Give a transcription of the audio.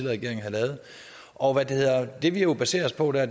regering havde lavet og det vi jo baserer os på der